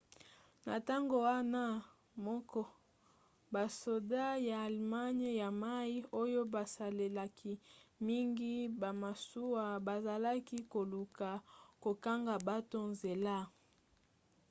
na ntango wana moko basoda ya allemagne ya mai oyo basalelaki mingi bamasuwa bazalaki koluka kokanga bato nzela